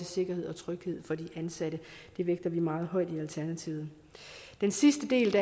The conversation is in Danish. sikkerhed og tryghed for de ansatte det vægter vi meget højt i alternativet den sidste del